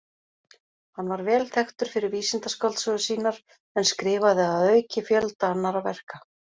Hann var vel þekktur fyrir vísindaskáldsögur sínar en skrifaði að auki fjölda annarra verka.